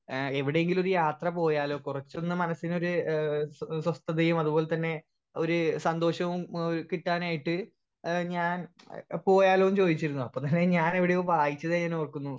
speaker 1 ഏഹ് എവിടെയെങ്കിലും ഒരു യാത്ര പോയാൽ കൊറച്ചൊന്നും മനസ്സിനൊരു ഏഹ് സ്വസ്ഥതയും അതുപോലതന്നെ ഒര് സന്തോഷവും ഏഹ് കിട്ടാനായിട്ട് ഏഹ് ഞാൻ പോയാലോന്ന് ചോയിച്ചിരുന്നു അപ്പൊ തന്നെ ഞാൻ എവിടെയോ വായിച്ചതായി ഞാൻ ഓർക്കുന്നു